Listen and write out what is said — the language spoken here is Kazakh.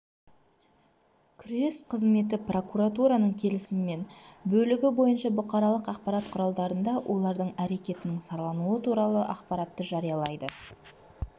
күрес қызметі прокуратураның келісімімен бөлігі бойынша бұқаралық ақпарат құралдарында олардың әрекетінің саралануы туралы ақпаратты жариялайды